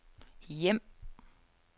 hjem